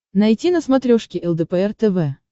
найти на смотрешке лдпр тв